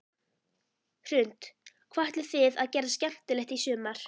Hrund: Hvað ætlið þið að gera skemmtilegt í sumar?